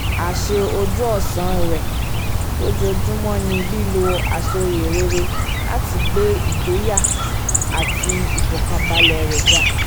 àṣe ojú-ọ̀sán rẹ lójoojúmọ́ ni lílo àsọyé rere láti gbé igboyà àti ìfọkànbalẹ̀ rẹ ga